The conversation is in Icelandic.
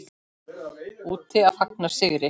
Úti að fagna sigri.